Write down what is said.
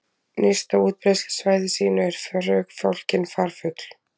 Nyrst á útbreiðslusvæði sínu er förufálkinn farfugl.